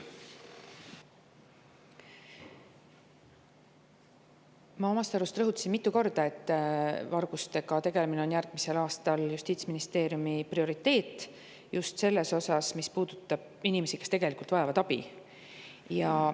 Ma omast arust rõhutasin mitu korda, et vargustega tegelemine on järgmisel aastal Justiits‑ ja Digiministeeriumi prioriteet, just selles osas, mis puudutab inimesi, kes vajavad abi.